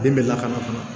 Den bɛ lakana